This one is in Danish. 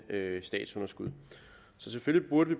statsunderskud så selvfølgelig burde